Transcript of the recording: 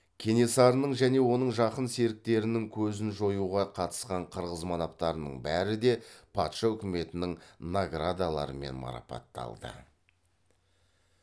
кенесарының және оның жақын серіктерінің көзін жоюға қатысқан қырғыз манаптарының бәрі де патша үкіметінің наградаларымен марапатталды